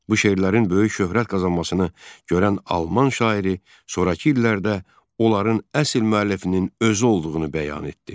Bu şeirlərin böyük şöhrət qazanmasını görən alman şairi sonrakı illərdə onların əsl müəllifinin özü olduğunu bəyan etdi.